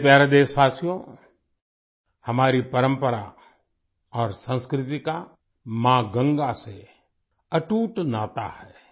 मेरे प्यारे देशवासियो हमारी परंपरा और संस्कृति का माँ गंगा से अटूट नाता है